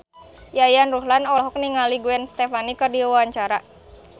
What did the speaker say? Yayan Ruhlan olohok ningali Gwen Stefani keur diwawancara